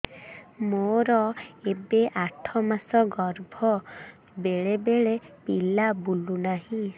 ମୋର ଏବେ ଆଠ ମାସ ଗର୍ଭ ବେଳେ ବେଳେ ପିଲା ବୁଲୁ ନାହିଁ